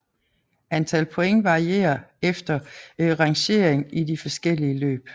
Antal point varierer efter rangering i de forskellige løb